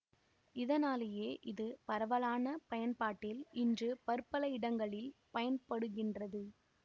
இதனாலேயே இது பரவலான பயன்பாட்டில் இன்று பற்பல இடங்களில் பயன்படுகின்றது